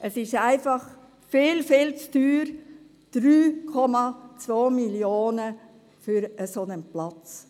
Es ist einfach viel, viel zu teuer – 3,2 Mio. Franken für einen solchen Platz.